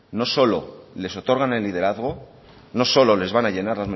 no solo les otorgan el liderazgo no solo les van a llenar